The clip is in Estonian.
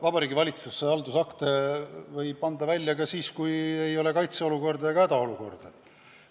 Vabariigi Valitsus võib haldusakte anda välja ka siis, kui ei ole kaitseolukorda ega hädaolukorda.